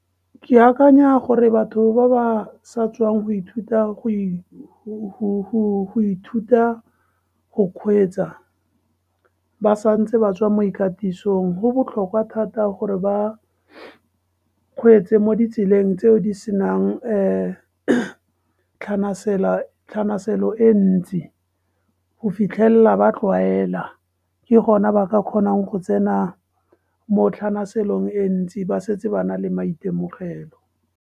Ke akanya gore batho ba ba sa tswang go ithuta go kgweetsa ba santse ba tswa mo ikatisong, go botlhokwa thata gore ba kgweetse mo ditseleng tseo di senang tlhanaselo e ntsi go fitlhelela ba tlwaela, ke gona ba ka kgonang go tsena mo tlhanaselong e ntsi ba setse ba nale maitemogelo.